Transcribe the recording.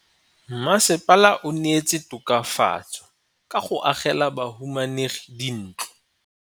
Mmasepala o neetse tokafatsô ka go agela bahumanegi dintlo.